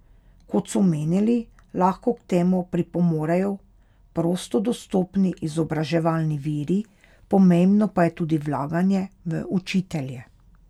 Kot so menili, lahko k temu pripomorejo prosto dostopni izobraževalni viri, pomembno pa je tudi vlaganje v učitelje.